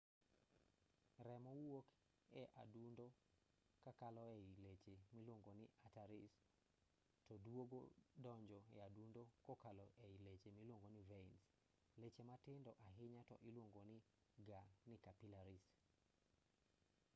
remo wuok e adundo kakalo ei leche miluongo ni arteries to duogo donjo e adundo kokalo ei leche miluongo ni veins leche matindo ahinya to iluongo ga ni capillaries